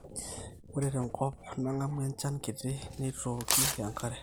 ore tenkop nang'amu enjan kiti neitooki enkare